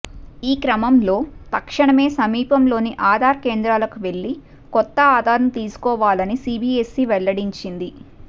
ఈ క్రమంలో తక్షణమే సమీపంలోని ఆధార్ కేంద్రాలకు వెళ్లి కొత్త ఆధార్ను తీసుకోవాలని సిబిఎస్ఇ వెల్లడించింది